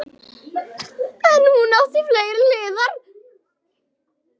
En hún átti fleiri hliðar.